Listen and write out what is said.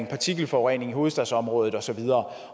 partikelforurening i hovedstadsområdet og så videre